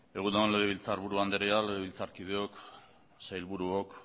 egun on legebiltzarburu andrea legebiltzarkideok sailburuok